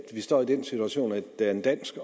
vi står i den situation at der er en dansk